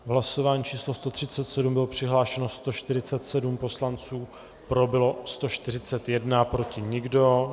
V hlasování číslo 137 bylo přihlášeno 147 poslanců, pro bylo 141, proti nikdo.